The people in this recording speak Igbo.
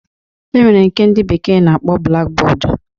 E nwere nke ndị bekee na-akpọ blaki bọọdu